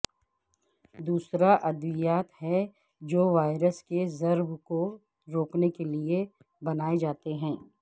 دوسرا ادویات ہے جو وائرس کی ضرب کو روکنے کے لئے بنائے جاتے ہیں